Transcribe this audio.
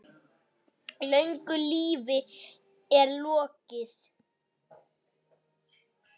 Löngu lífi er lokið.